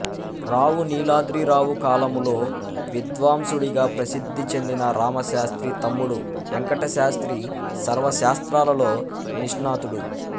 రావు నీలాద్రిరావు కాలములో విద్వాంసుడిగ ప్రసిద్ధి చెందిన రామశాస్త్రి తమ్ముడు వేంకటశాస్త్రి సర్వశాస్త్రాలలో నిష్ణాతుడు